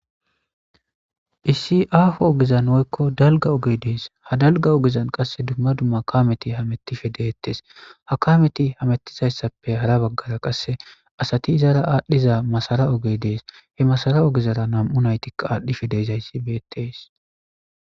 issi aho ogezan woykko dalga oge dees ha dalga ogezan qasse dumma dumma kameti ha kametti deettes ha kameti hamettizayssappe hara baggara qasse asati izaara aadhdhiza masara oge dees he masara ogezara nam7u naytika aadhdhife deezayssi beettees